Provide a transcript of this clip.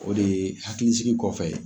O de ye hakilisigi kɔfɛ